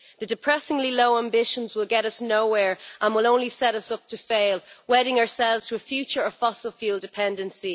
The depressingly low ambitions will get us nowhere and will only set us up to fail, wedding ourselves to a future of fossil fuel dependency.